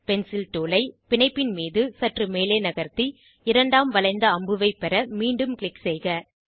pencil tool ஐ பிணைப்பின் மீது சற்று மேலே நகர்த்தி இரண்டாம் வளைந்த அம்புவைப் பெற மீண்டும் க்ளிக் செய்க